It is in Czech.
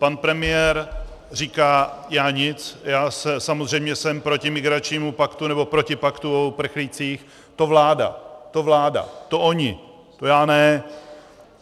Pan premiér říká já nic, já samozřejmě jsem proti migračnímu paktu, nebo proti paktu o uprchlících, to vláda, to vláda, to oni, to já ne.